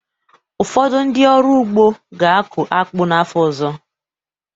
Ụfọdụ ndị ọrụ ugbo ga-akụ akpu n'afọ ọzọ